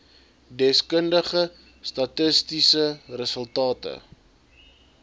deskundige statistiese resultate